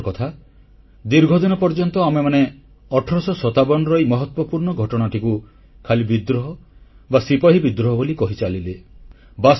ଦୁଃଖର କଥା ଦୀର୍ଘଦିନ ପର୍ଯ୍ୟନ୍ତ ଆମେମାନେ 1857ର ଏହି ମହତ୍ୱପୂର୍ଣ୍ଣ ଘଟଣାଟିକୁ ଖାଲି ବିଦ୍ରୋହ ବା ସିପାହୀ ବିଦ୍ରୋହ ବୋଲି କହିଚାଲିଲେ